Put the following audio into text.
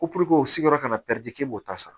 Ko o sigiyɔrɔ ka na k'i b'o ta sa